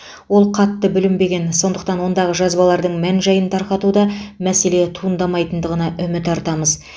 ол қатты бүлінбеген сондықтан ондағы жазбалардың мән жайын тарқатуда мәселе туындамайтындығына үміт артамыз